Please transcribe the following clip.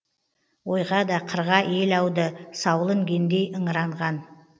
ойға да қырға ел ауды саулы інгендей ыңыранған